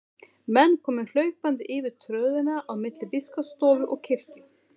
Menn komu hlaupandi yfir tröðina á milli biskupsstofu og kirkju.